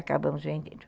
Acabamos vendendo.